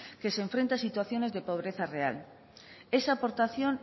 que se enfrenta a situación de pobreza real esa aportación